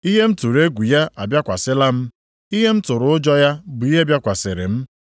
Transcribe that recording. Ihe m tụrụ egwu ya abịakwasịla m, ihe m tụrụ ụjọ ya bụ ihe bịakwasịrị m.